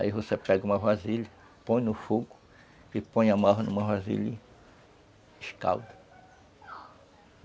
Aí você pega uma vasilha, põe no fogo, e põe a marva numa vasilha e escalda.